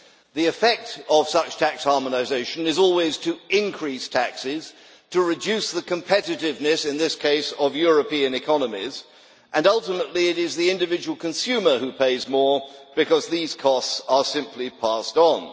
The effect of such tax harmonisation is always to increase taxes, to reduce competitiveness in this case of European economies and, ultimately, it is the individual consumer who pays more because these costs are simply passed on.